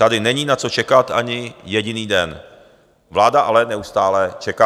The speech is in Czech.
Tady není na co čekat ani jediný den, vláda ale neustále čeká.